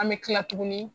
An bɛ tila tuguni